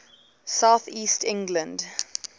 south east england